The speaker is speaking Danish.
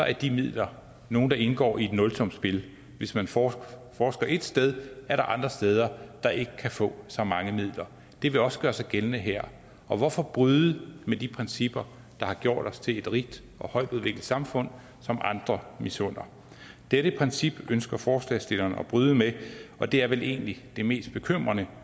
er de midler nogle der indgår i et nulsumsspil hvis man forsker et sted er der andre steder der ikke kan få så mange midler det vil også gøre sig gældende her og hvorfor bryde med de principper der har gjort os til et rigt og højtudviklet samfund som andre misunder dette princip ønsker forslagsstillerne at bryde med og det er vel egentlig det mest bekymrende